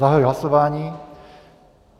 Zahajuji hlasování.